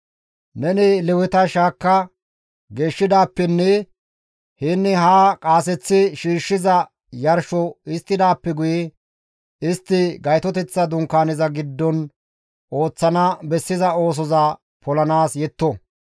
«Neni Leweta shaakka geeshshidaappenne yaanne haa qaaseththi shiishshiza yarsho histtidaappe guye istti Gaytoteththa Dunkaaneza giddon ooththana bessiza oosoza polanaas yetto.